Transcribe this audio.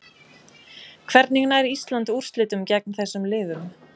Hvernig nær Ísland úrslitum gegn þessum liðum?